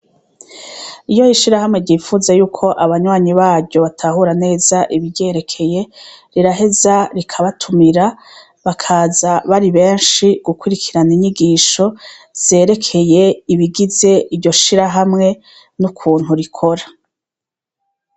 Iyo ishirahamwe ryifuza yuko abanywanyi baryo batahura neza ibiryerekeye riraheza rikabatumira bakaza bari beshi gukurikirana inyigisho zerekeye ibigize iryo shirahamwe nukuntu rikora.